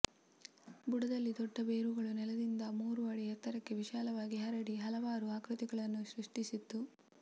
ಬುಡದಲ್ಲಿ ದೊಡ್ಡ ಬೇರುಗಳು ನೆಲದಿಂದ ಮೂರು ಅಡಿ ಎತ್ತರಕ್ಕೆ ವಿಶಾಲವಾಗಿ ಹರಡಿ ಹಲವಾರು ಆಕೃತಿಗಳನ್ನು ಸೃಸ್ಟಿ ಸಿತ್ತು